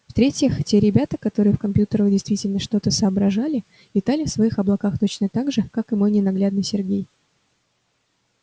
в-третьих те ребята которые в компьютерах действительно что-то соображали витали в своих облаках точно так же как и мой ненаглядный сергей